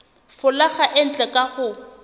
folaga e ntle ka ho